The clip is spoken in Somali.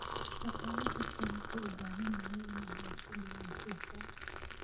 Shaqaale kastaa wuxuu u baahan yahay inuu haysto diiwaankiisa.